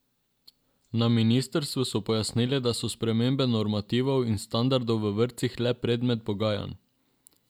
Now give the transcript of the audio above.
Na ministrstvu so pojasnili, da so spremembe normativov in standardov v vrtcih le predmet pogajanj.